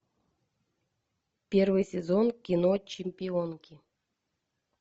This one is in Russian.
первый сезон кино чемпионки